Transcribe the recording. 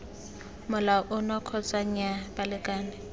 molao ono kgotsa nnyaa balekane